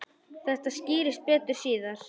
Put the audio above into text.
Þetta skýrist betur síðar.